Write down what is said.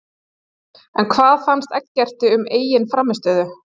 En hvað fannst Eggerti um eigin frammistöðu?